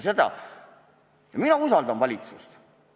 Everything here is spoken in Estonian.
Mina usaldan valitsust.